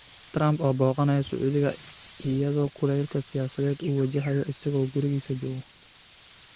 Trump oo booqanayo Sacuudiga, iyadoo kulaylka siyaasadeed uu wajahayo isaga oo gurigiisa jooga